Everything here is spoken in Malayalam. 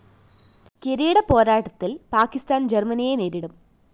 കിരീടപ്പോരാട്ടത്തില്‍ പാക്കിസ്ഥാന്‍ ജര്‍മനിയെ നേരിടും